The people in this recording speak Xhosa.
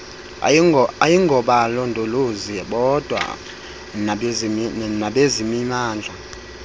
ayingobalondolozi bodwa nabezemimandla